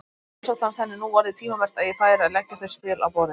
Sjálfsagt fannst henni nú orðið tímabært að ég færi að leggja þau spil á borðið!